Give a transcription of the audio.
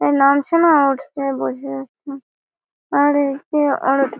নামছে না উঠছে বোঝা যাচ্ছে না আর একটি অর--